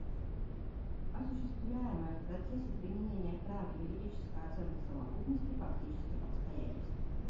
осуществляемая в процессе применения права юридическая оценка совокупности фактических обстоятельств